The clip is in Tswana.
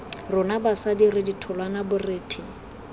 rona basadi re ditholwana borethe